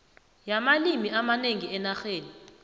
yamalimi amanengi enarheni